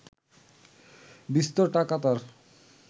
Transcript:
বিস্তর টাকা তার